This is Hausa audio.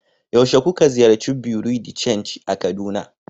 yaushe kuka ziyarci bureau de chanji a kaduna